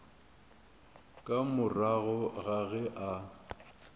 ka morago ga ge a